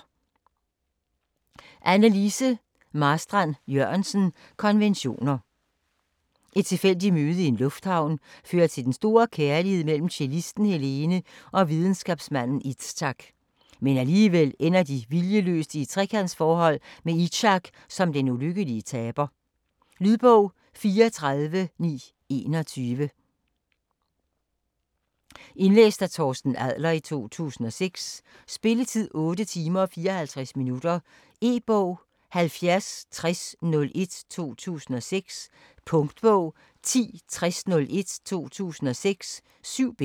Marstrand-Jørgensen, Anne Lise: Konventioner Et tilfældigt møde i en lufthavn fører til den store kærlighed mellem cellisten Helene og videnskabsmanden Izak. Men alligevel ender de viljeløst i et trekantsforhold med Izak som den ulykkelige taber. Lydbog 34921 Indlæst af Torsten Adler, 2006. Spilletid: 8 timer, 54 minutter. E-bog 706001 2006. Punktbog 106001 2006. 7 bind.